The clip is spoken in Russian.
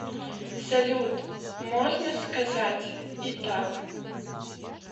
салют можно сказать и так